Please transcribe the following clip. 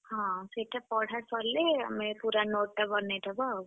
ହଁ ସେଇଟା ପଢା ସରିଲେ ଆମେ ପୁରା note ଟା ବନେଇଦବା ଆଉ।